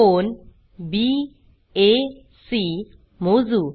कोन back मोजू